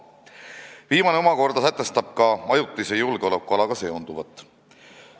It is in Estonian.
Viimane omakorda sätestab ka ajutise julgeolekualaga seonduvat.